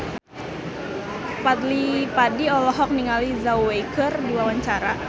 Fadly Padi olohok ningali Zhao Wei keur diwawancara